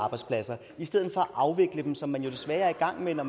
arbejdspladser i stedet for at afvikle dem som man jo desværre er i gang med når